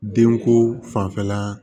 Denko fanfɛla